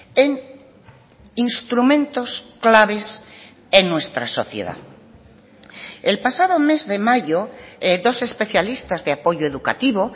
en instrumentos claves en nuestra sociedad el pasado mes de mayo dos especialistas de apoyo educativo